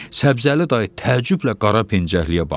Səbzəli dayı təəccüblə qara pencəkliyə baxdı.